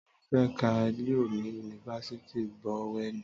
Tọlu fẹ kà liọ ní unifásitì Bowẹni.